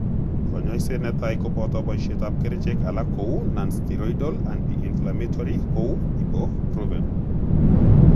Konyoiset ne tai kopoto poisietap kerichek alak kou nonsteroidal anti inflammatory kou Ibuprofen.